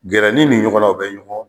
Gɛrɛni ni ɲɔgɔn na o bɛ ɲɔgɔn